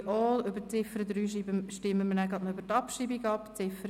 Bei der Ziffer 3 stimmen wir anschliessend auch noch gleich über die Abschreibung ab.